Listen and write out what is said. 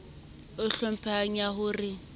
e hlomphehang ya ho re